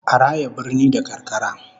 A raya birni da karkara